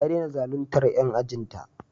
Ta dena zaluntar 'yan ajin ta